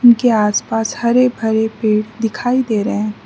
के आस पास हरे भरे पेड़ दिखाई दे रहे हैं।